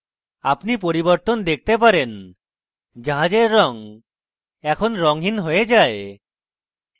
আপনি পরিবর্তন দেখতে পারেন জাহাজের রঙ এখন রঙহীন হয়ে যায়